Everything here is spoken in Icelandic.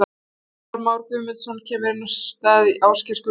Gunnar Már Guðmundsson kemur inn á í stað Ásgeir Gunnar.